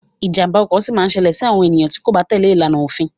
Ìjàmbá ọkọ sì ma ṣẹlẹ ti àwọn ènìyàn kò bá tèlé ìlànà ati òfin.